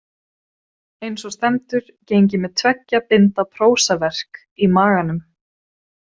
Einsog stendur geng ég með tveggja binda prósaverk í maganum.